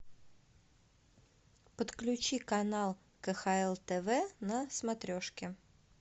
подключи канал кхл тв на смотрешке